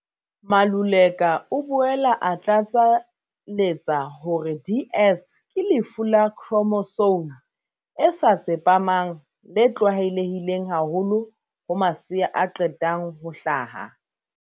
Maluleka o boela a tlatsa letsa hore DS ke lefu la khro mosome e sa tsepamang le tlwaelehileng haholoholo ho masea a qetang ho hlaha.